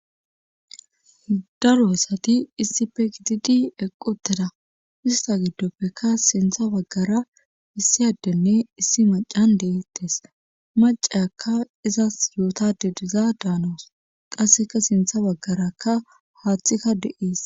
Daroasati issife gididi eqqu tteda ista giddoppekka sintha baggara issi addenne issi macan deettes macaakka izas yootade diza daanoos qasseka sintha baggarakka haaththikka de7ees